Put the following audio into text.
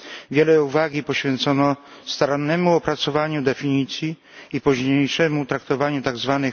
Wiele uwagi poświęcono starannemu opracowaniu definicji i późniejszemu traktowaniu tzw.